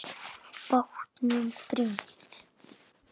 Bátnum brýnt.